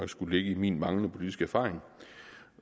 skulle ligge i min manglende politiske erfaring